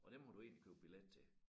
Og dem havde du egentlig købe billet til